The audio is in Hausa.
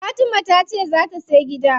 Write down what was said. Fatima tace zaa ta siya gida.